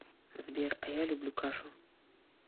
сбер а я люблю кашу